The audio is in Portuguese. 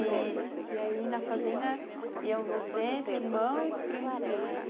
E aí na fazenda iam você, seu irmão e os primos todos.